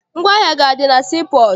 Ngwaahịa gị adị na sii pọọtụ?